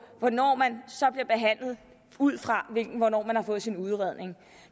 hvornår man så bliver behandlet ud fra hvornår man har fået sin udredning